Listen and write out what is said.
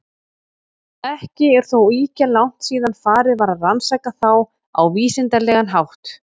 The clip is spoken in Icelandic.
Ekki er þó ýkja langt síðan farið var að rannsaka þá á vísindalegan hátt.